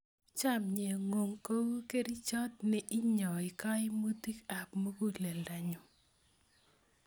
Chomye ng'ung' kou kerichot ne inyoi kaimitik ap muguleldanyu